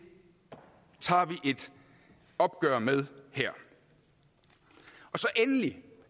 tager vi et opgør med her endelig